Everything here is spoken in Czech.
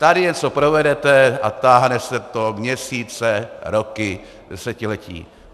Tady něco provedete a táhne se to měsíce, roky, desetiletí.